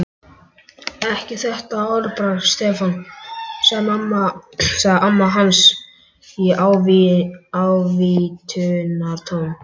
Ekki þetta orðbragð, Stefán sagði amma hans í ávítunartón.